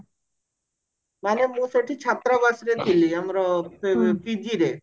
ମାନେ ମୁଁ ସେଠି ଛାତ୍ରବାସରେ ଥିଲି ମାନେ PG ରେ